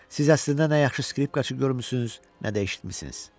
Siz əslində nə yaxşı skripkaçı görmüsünüz, nə də eşitmisiniz.